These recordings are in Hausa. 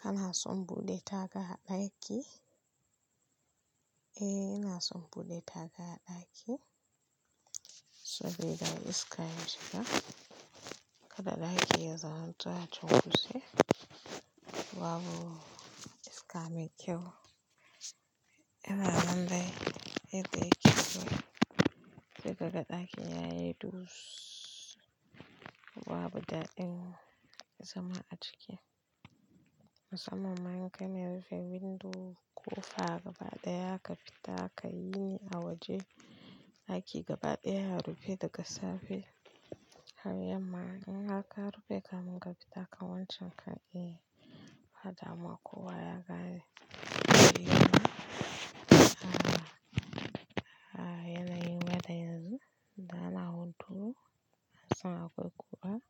Kana son buɗe taga a ɗaki? Eh, ina son buɗe taga a ɗaki saboda iska ya shiga. Kada ɗaki ya zamanto a tunkutse babu iska mai kyau. Ina nan dai, yadda yake yanzu. Daga ɗakin yayi dus, babu daɗin zama a ciki. Musamman ma in kana rufe windo, ƙofa gaba ɗaya ka fita ka yi a waje. Ɗaki gaba ɗaya ya rufe daga safe. Haryamma in haka ka rufe kamin ka fita ka wancanka e, fa damuwa ya kaɗi. Yana yi waɗanda yanzu na na hutu, ba zan iya ƙura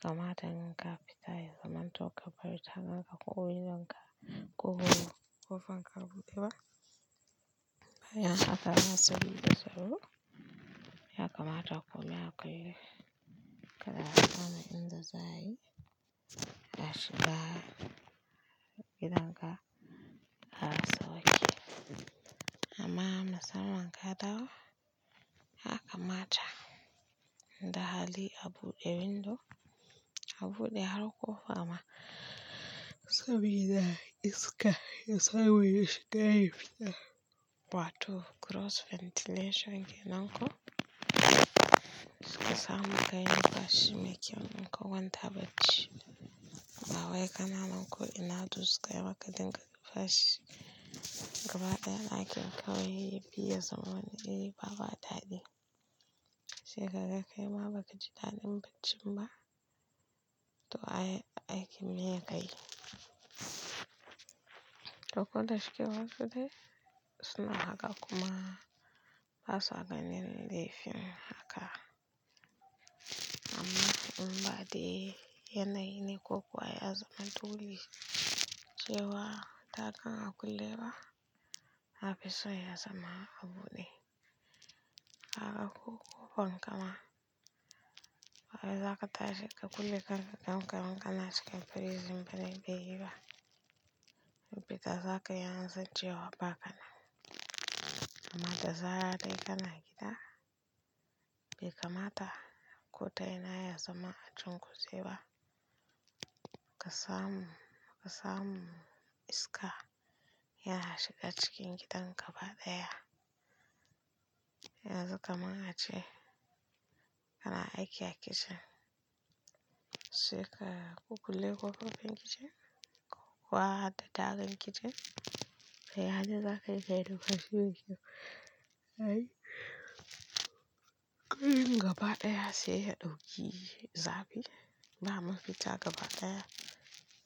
kamata ninka fita ya zama to ka barita haka ko windo in ka ƙulla ƙofar ka buɓewa. Ya kamata ku leƙa kada a fara in zai shiga gidan ka har sawwa ke. Amma nasara in ka dawo, ya kamata in da hali a buɗe window a buɗe har ƙofa amma saboda iska ya samu ya shiga yafi da wato cross ventilation kenan ko. Ka samu, kayi lumfashi mai kyau in ka kwanta bacci. Ba wai kana nan ko ina dus kai maka dinga fashi. Gaba ɗaya ɗakin ka wai biya zamanin yi bama daɗi. Shekarar kai ma baka ji daɗin bacci ba to aiki ne ya kai. To ko da shike wasu dai suna haka kuma basu a gani laifin haka. Amma in ba dai yanayi ne ko kuwa ya zama dole cewa tagan a kulle ba, nafi so ya zama a buɗe. Haka ko ƙofar kama, waye za ka tashi ka kulle kan ka don karen ka na cikin prison bane bai yi ba. Fita za ka yi an san cewa ba kanan. Kaamma da zaran kana gida. Kamata ko ta ina ya zama a cunkuse ba. Ka samu, ka samu iska ya shiga cikin gidan ka gaba ɗaya. Yanzu kaman ace kana aiki a kicin, sai ka ku kulle ƙofar kitchen ko kuw da tagar kitchen yadai za ka yi numfashi mai kyau. Gaba ɗaya sai ya ɗauki zafi. Ba mafita gaba ɗaya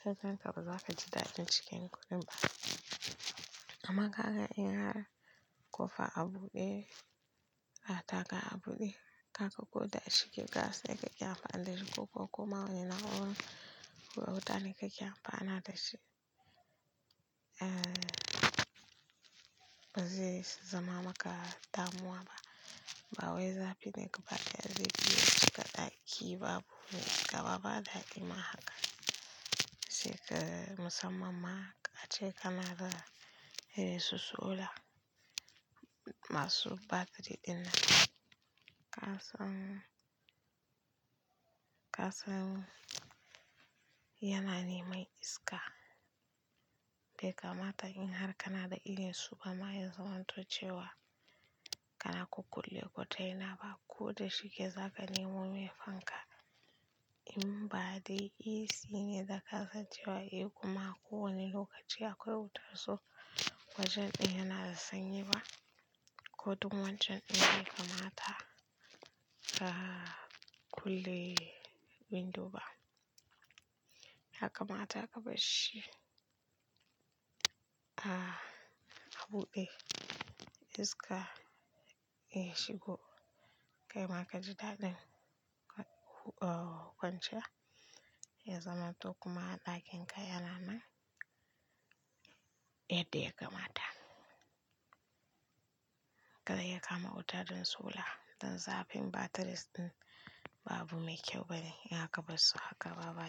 sai can gaba za ka ji daɗin cikin kunne ba. Amma ka ga in har ƙofa a buɗe, a taga a buɗe, ka koda shike gas ya kai a fadi ko kuma wani nawo ya wutanin kake amfana dashi. Ba zai zama maka damuwa ba. Ba wai zafi ne gaba ɗaya zai biya saka ɗaki babu mai gaba ba daƙi ma haka. Shekarar musamman ma a ce kanada ya yi su solar masu batiri ɗin. Kasan, kasan yana neman iska. Kamata in har kanada irin su ba ma ya zamanto cewa kana ku kulle ko ta uina ba koda shike za ka nemo me fanka in ba dai AC ne da ka san cewa a kuma ko wani lokaci akwai wutar so wajen ɗai na da sanyi ba. Ko duk wancan in bai kamata ba a kulle windo ba. Haka kamata ka bar shi a buɗe iska ya shigo kai ma ka ji daɗin ƙwanciya ya zama to kuma ɗakin ka yana nan yadda ya kamata. Kada ya kama wuta don solar don zafin batiris ɗin ba abu mai kyau bane in aka bar su haka gaba ba.